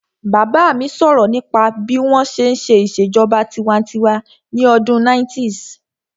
Bàbá mi sọ̀rọ̀ nípa bí wọ́n ṣe n ṣe ìṣèjọba tinwatinwa ní ọdún 90's